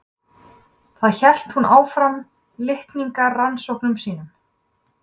Þar hélt hún áfram litningarannsóknum sínum.